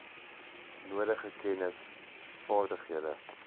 nodige kennis vaardighede